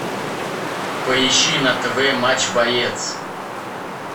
поищи на тв матч боец